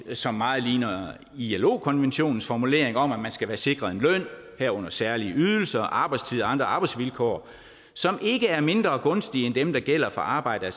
som meget ligner ilo konventionens formulering om at man skal være sikret løn herunder særlige ydelser arbejdstider og andre arbejdsvilkår som ikke er mindre gunstige end dem der gælder for arbejde af